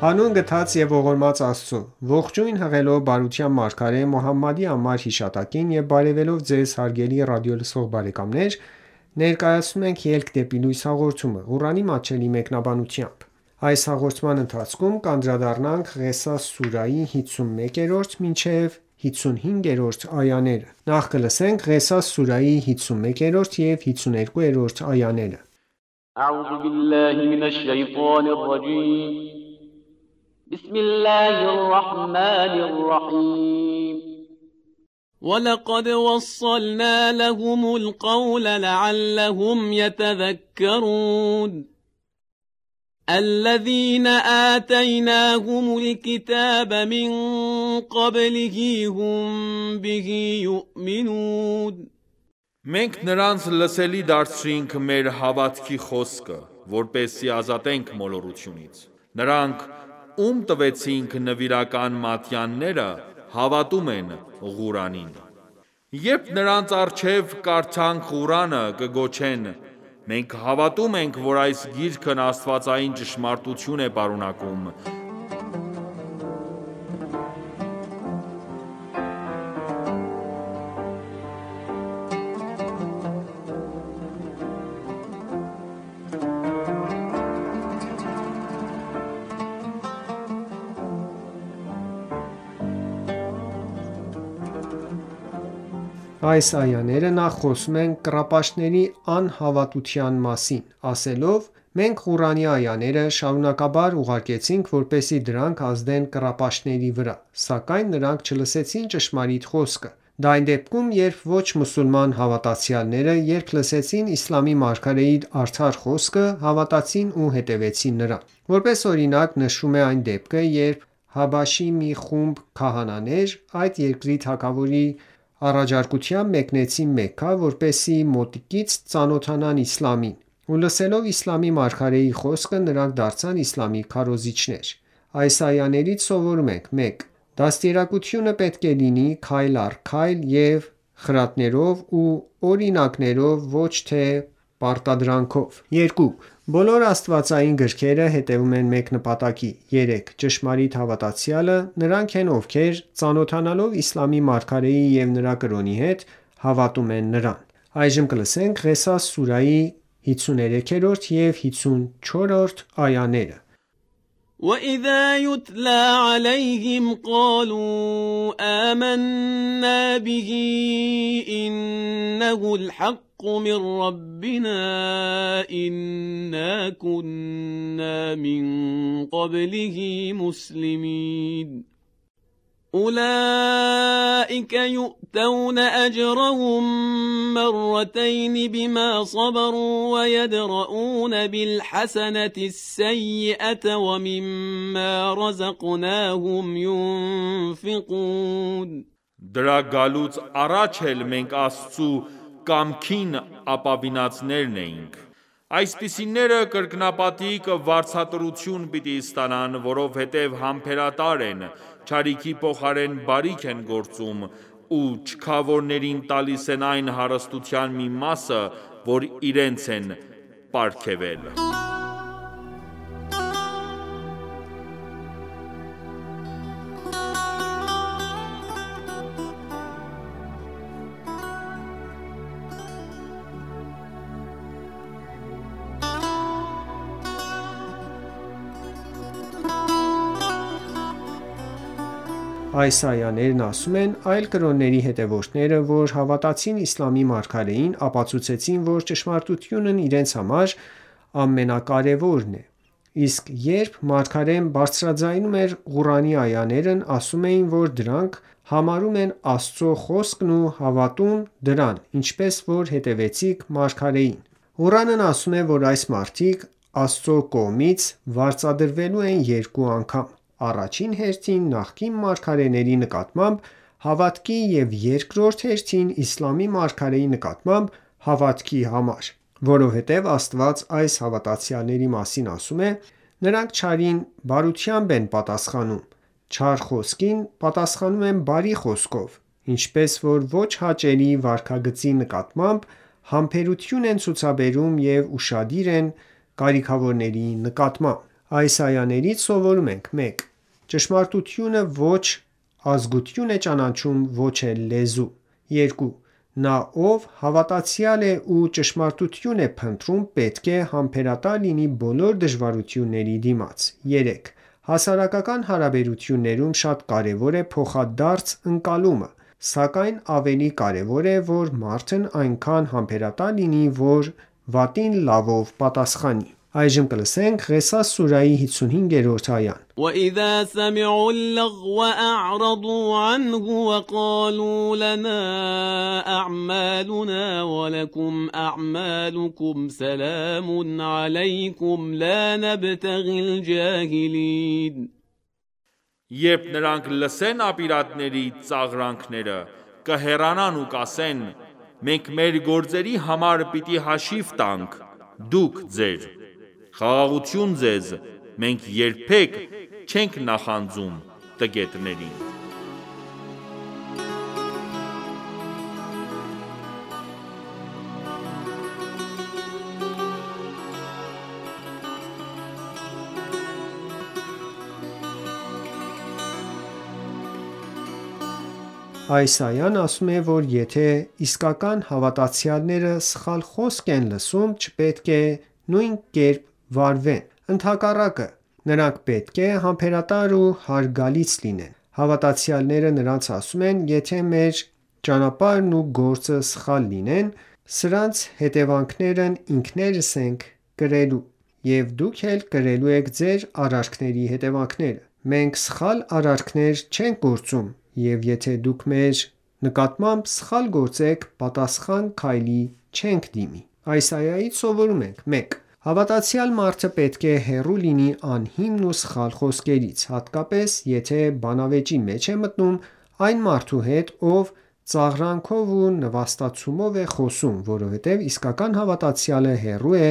Հանուն գթած և ողորմած Աստծո:Ողջույն հղելով բարության մարգարե Մոհամմադի անմար հիշատակին եւ բարեւելով Ձեզ հարգելի ռադիոլսող բարեկամներ, ներկայացնում ենք «Ելք դեպի լույս» հաղորդումը, Ղուրանի մատչելի մեկնաբանությամբ: Ղեսաս սուրահի 51 և 52-րդ այաներ وَلَقَدْ وَصَّلْنَا لَهُمُ الْقَوْلَ لَعَلَّهُمْ یَتَذَکَّرُونَ الَّذِینَ آتَیْنَاهُمُ الْکِتَابَ مِنْ قَبْلِهِ هُمْ بِهِ یُؤْمِنُونَ Մենք նրանց լսելի դարձրինք մեր հավատքի խոսքը, որպեսզի ազատենք մոլորությունից: Նրանք, ում տվեցինք (նվիրական) մատյանները, հավատում են (Ղուրանին): Այս այաները նախ խոսում են կռապաշտների անհավատության մասին, ասելով. «Մենք Ղուրանի այաները շարունակաբար ուղարկեցինք, որպեսզի դրանք ազդեն կռապաշտների վրա: Սակայն նրանք չլսեցին ճշմարիտ խոսքը: Դա այն դեպքում, երբ ոչ մուսուլման հավատացյալները, երբ լսեցին իսլամի մարգարեի արդար խոսքը, հավատացին ու հետևեցին նրան»: Որպես օրինակ նշվում է այն դեպքը, երբ Հաբաշեի մի խումբ քահանաներ, այդ երկրի թագավորի առաջարկությամբ մեկնեցին Մեքքա, որպեսզի մոտիկից ծանոթանան իսլամին: Ու լսելով իսլամի մարգարեի խոսքը, նրանք դարձան իսլամի քարոզիչներ: Այս այաներից սովորում ենք. 1. Դաստիարակությունը պետք է լինի քայլ առ քայլ և խրատներով ու օրինակներով ոչ թե պարտադրանքով: 2 .Բոլոր աստվածային գրքերը հետևում են մեկ նպատակի: 3. Ճշմարիտ հավատացյալը նրանք են, ովքեր ծանոթանալով Իսլամի մարգարեի և նրա կրոնի հետ, հավատում են նրան: Ղեսաս սուրահի 53 և 54-րդ այաներ Երբ նրանց առջև կարդաք (Ղուրանը), կգոչեն. «Մենք հավատում ենք, որ այս Գիրքն աստվածային ճշմարտություն է պարունակում: Դրա գալուց առաջ (էլ) մենք Աստծու կամքին ապավինածներից էինք»: Այսպիսիները կրկնապատիկ վարձատրություն պիտի ստանան, որովհետև համբերատար են, չարիքի փոխարեն բարիք են գործում, ու չքավորներին տալիս են այն հարստության մի մասը, որ իրենց ենք պարգևել: Այս այաներն ասում են. «Այլ կրոնների հետևորդները, որ հավատացին իսլամի մարգարեին, ապացուցեցին, որ ճշմարտությունն իրենց համար ամենակարևորն է: Իսկ երբ մարգարեն բարձրաձայնում էր Ղուրանի այաներն ասում էին, որ դրանք համարում են Աստծո խոսքն ու հավատում դրան, ինչպես որ հետևեցինք մարգարեին»: Ղուրանն ասում է, որ այս մարդիկ, Աստծու կողմից վարձատրվելու են երկու անգամ: Առաջին հերթին նախկին մարգարեների նկատմամբ հավատքի և երկորդ հերթին իսլամի մարգարեի նկատմամբ հավատքի համար: Այնուհետև, Աստված այս հավատացյալների մասին ասում է. «Նրանք չարին բարությամբ են պատասխանում, չար խոսքին պատասխանում բարի խոսքով, ինչպես որ ոչ հաճելի վարքագծի նկատմամբ համբերություն են ցուցաբերում և ուշադիր են կարքիավորների նկատմամբ»: Այս այաներից սովորում ենք. 1. Ճշմարտությունը ոչ ազգություն է ճանաչում և ոչ էլ լեզու: 2. Նա, ով հավատացյալ է ու ճշմարտություն է փնտրում, պետք է համբերատար լինի բոլոր դժվարությունների դիմաց: 3. Հասարակական հարաբերություններում շատ կարևոր է փոխադարձ ընկալումը: Սակայն ավելի կարևոր է, որ մարդն այնքան համբերատար լինի, որ վատին լավով պատասխանի: Ղեսաս սուրահի 55-րդ այա Երբ նրանք լսեն ապիրատների ծաղրանքները, կհեռանան ու կասեն. «Մենք մեր գործերի համար պիտի հաշիվ տանք, դուք` ձեր: Խաղաղություն ձեզ, մենք երբեք չենք նախանձում տգետներին»: Այս այան ասում է, որ եթե իսկական հավատացյալները սխալ խոսք են լսում, չպետք է նույն կերպ վարվեն: Ընդհակառակը, նրանք պետք է համբերատար ու հարգալից լինեն: Հավատացյալները նրանց ասում են. «Եթե մեր ճանապարհն ու գործը սխալ լինեն, սրանց հետևանքներն ինքներս ենք կրելու: Եվ դուք էլ կրելու եք ձեր արարքների հետևանքները: Մենք սխալ արարքներ չենք գործում և եթե դուք մեր նկատմամբ սխալ գործեք, պատասխան քայլի չենք դիմի»: Այս այայից սովորում ենք. 1. Հավատացյալ մարդը պետք է հեռու լինի անհիմն ու սխալ խոսքերից, հատկապես եթե բանավեճի մեջ է մտնում այն մարդու հետ, ով ծաղրանքով ու նվաստացումով է խոսում, որովհետև իսկական հավատացյալը հեռու է